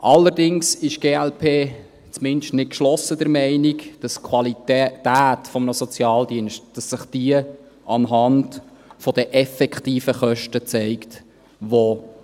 Allerdings ist die glp zumindest nicht geschlossen der Meinung, dass sich die Qualität eines Sozialdienstes an den effektiven Kosten zeigt, die